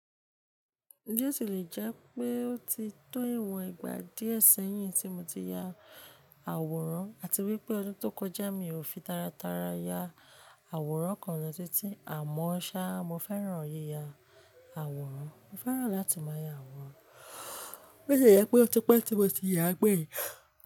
Bi o silẹ jẹ́ pé ó ti tó ìwọ̀n ìgbà díè sẹ́yìn tí mo ti ya àwòrán, àti wípé ọdún tó kọjá mi ò fi tara tara ya àwòrán kan lọ títí, àmọ́ ṣá, mo fẹ́ràn yíya àwòrán, mo fẹ́ràn láti máa ya àwòrán. Bi o ti lé jẹ́ pé ó ti pẹ́ tí mo ti ya gbẹ́yin.